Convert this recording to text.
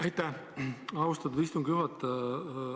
Aitäh, austatud istungi juhataja!